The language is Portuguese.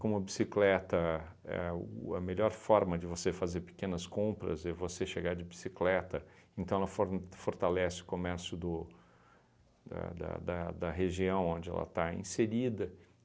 Como a bicicleta é o a melhor forma de você fazer pequenas compras e você chegar de bicicleta, então ela forn fortalece o comércio do da da da região onde ela está inserida.